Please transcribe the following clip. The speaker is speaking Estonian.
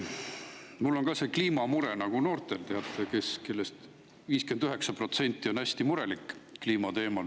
Mul on ka see kliimamure nagu noortel, teate, kellest 59% on hästi murelikud kliimateemal.